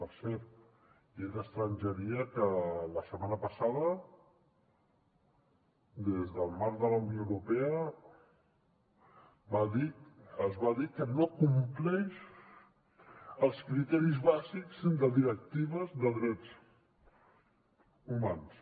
per cert llei d’estrangeria que la setmana passada des del marc de la unió europea es va dir que no compleix els criteris bàsics de directives de drets humans